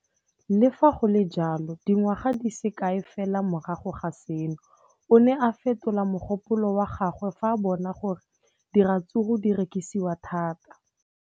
Le fa go le jalo, dingwaga di se kae fela morago ga seno, o ne a fetola mogopolo wa gagwe fa a bona gore diratsuru di rekisiwa thata.